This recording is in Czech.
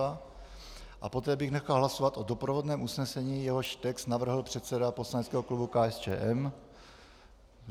A poté bych nechal hlasovat o doprovodném usnesení, jehož text navrhl předseda poslaneckého klubu KSČM.